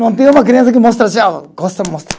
Não tem uma criança que mostra tchau, costa, mostra.